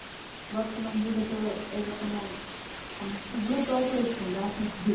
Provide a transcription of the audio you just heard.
বর্তমান যুগে তো এর ও কোনো মানে গুরুত্ব অপরিসীম রাজনীতির